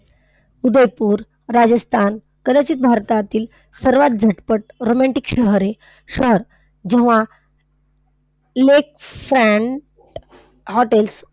उदयपूर, राजस्थान कदाचित भारतातील सर्वात झटपट romantic शहरे, सात जेव्हा lakes and hotels,